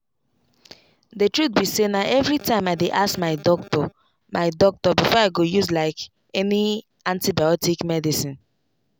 the truth be sayna everytime i dey ask my doctor my doctor before i go use like any antibiotic medicine.